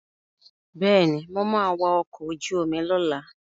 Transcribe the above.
Bẹ́ẹ̀ni, mo ma wa ọkọ̀ ojú omi lọ́la